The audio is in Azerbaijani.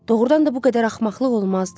Doğrudan da bu qədər axmaqlıq olmazdı.